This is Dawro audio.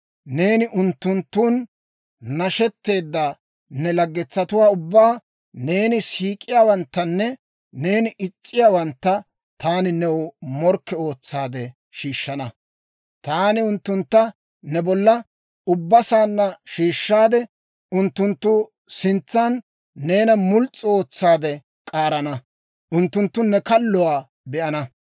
neeni unttunttun nashetteedda ne laggetsatuwaa ubbaa, neeni siik'iyaawanttanne neeni is's'iyaawantta taani new morkke ootsaade shiishshana. Taani unttuntta ne bolla ubba saanna shiishshaade, unttunttu sintsan neena muls's'u ootsaade k'aarana; unttunttu ne kalluwaa be'ana.